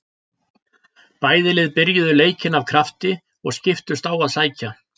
Bæði lið byrjuðu leikinn af krafti og skiptust á að sækja.